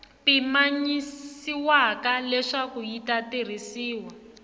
pimanyisiwaka leswaku yi ta tirhisiwa